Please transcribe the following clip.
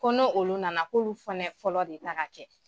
Kɔnɔ olu nana k'olu fɛnɛ fɔlɔ de ta ka kɛ.